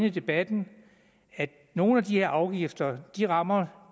i debatten at nogle af de her afgifter rammer